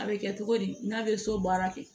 A bɛ kɛ togo di n'a bɛ so baara kɛ